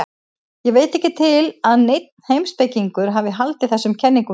Ég veit ekki til að neinn heimspekingur hafi haldið þessum kenningum fram.